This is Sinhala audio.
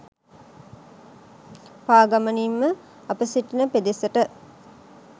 පාගමනින් ම අප සිටින පෙදෙසට